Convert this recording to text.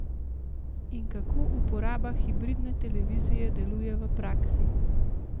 In kako uporaba hibridne televizije deluje v praksi?